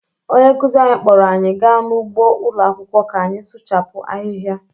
Onye nkụzi anyị kpọọrọ anyị gaa n’ugbo ụlọ akwụkwọ ka anyị suchapu ahịhịa